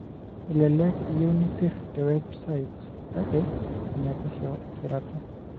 Elelek iyieu nisir tewebsite, kake enepesho esirata.